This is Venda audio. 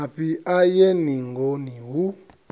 mafhi a ye ningoni hu